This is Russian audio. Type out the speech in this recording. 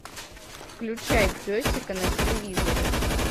включай песика на телевизоре